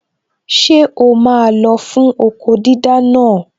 Ṣé o máa lọ fún okó dídá naa?